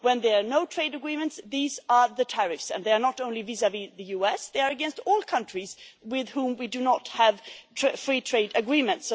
When there are no trade agreements, these are the tariffs, and they are not only vis vis the US, but they are against all countries with whom we do not have a free trade agreement.